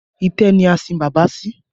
Itẹ́ ni a sin bàbá sí